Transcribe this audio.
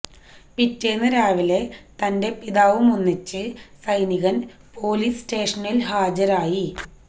പിറ്റേന്ന് രാവിലെ തന്റെ പിതാവുമൊന്നിച്ച് സൈനികൻ പോലീസ് സ്റ്റേഷനിൽ ഹാജരായി